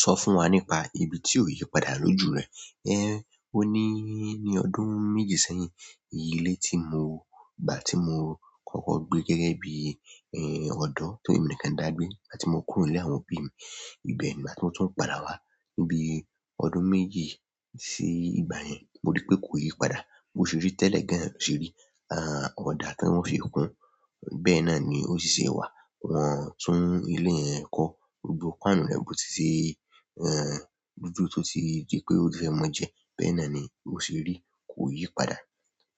Sọ fún wa nípa ibi tí ò yí padà lójú rẹ. Ẹ́, ó ní ní ọdún méjì sẹ́yìn. Ilé tí mo gbà tí mo kọ́kọ́ gbé gẹ́gẹ́ bí, ẹ́, ọ̀dọ́ temi nìkan dàgbé, gbàti mo kúrò ní ilé àwọn òbí mi. Ìbe ìgbà tí mo tún ń padà wá níbi ọdún méje sí ìgbà yẹn, mo rí pé kò yí padà. Bo ṣe rí tẹ́lẹ̀ gan lo ṣe rí. A, ọ̀dà ti wọ́n fi kún. Bẹ́ẹ̀ náà ni ó ṣì ṣe wà. Wọ́n o tún ilé yẹn kọ́. Gbogbò páànù rẹ̀ bó ti ṣe, ẹ́, dúdú tó ti di pé ó ti fẹ́ mọ́ jẹ. Bẹ́ẹ̀ náà ni o ṣe rí. Kò yí padà.